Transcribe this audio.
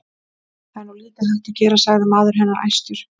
Það er nú lítið hægt að gera, sagði maður hennar æstur.